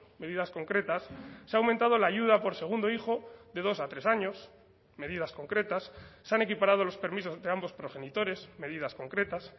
medidas concretas se ha aumentado la ayuda por segundo hijo de dos a tres años medidas concretas se han equiparado los permisos de ambos progenitores medidas concretas